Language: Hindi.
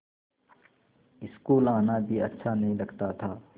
स्कूल आना भी अच्छा नहीं लगता था